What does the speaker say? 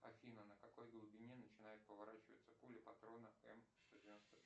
афина на какой глубине начинает поворачиваться пуля патрона м